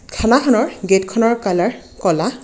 থানাখনৰ gate খনৰ কালাৰ কলা.